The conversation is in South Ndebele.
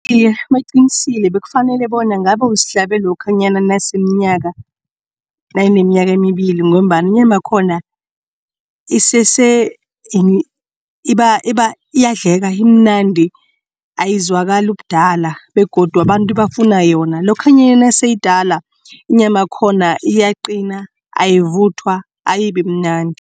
Iye, baqinisile kufanele bona ngabe usihlabe lokhanyana nayineminyaka embili ngombana inyama yakhona isese iyadleka imnandi ayizwakali ubudala begodu abantu bafuna yona. Lokhanyana nesele iyidala inyama khona iyaqina ayivuthwa ayibimnandi.